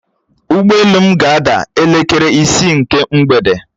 Ụgbọelu m ga-ada elekere isi nke mgbede